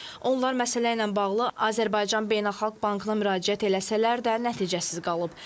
Onlar məsələ ilə bağlı Azərbaycan Beynəlxalq Bankına müraciət etsələr də, nəticəsiz qalıb.